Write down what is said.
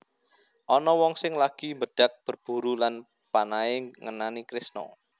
Ana wong sing lagi mbedhag berburu lan panahe ngenani Kresna